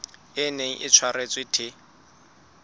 e neng e tshwaretswe the